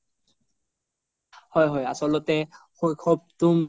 হয় হয় আচল্তে শৈশৱটো